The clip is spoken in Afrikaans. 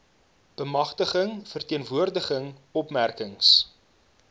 bemagtiging verteenwoordiging opmerkings